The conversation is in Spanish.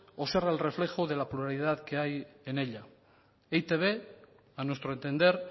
o ser el reflejo de la pluralidad que hay en ella e i te be a nuestro entender